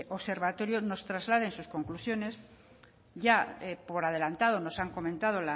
observatorio nos traslade en sus conclusiones ya por adelantado nos han comentado